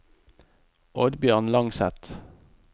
Oddbjørn Langseth